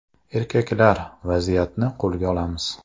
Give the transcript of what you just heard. Erkaklar, vaziyatni qo‘lga olamiz!